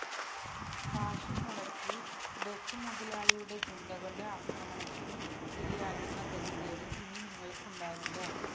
കാശും മുടക്കി ബസ് മുതലാളിയുടെ ഗുണ്ടകളുടെ അക്രമത്തിന് ഇരിയാകുന്ന ഗതികേട് ഇനി നിങ്ങള്ക്ക് ഉണ്ടാവില്ല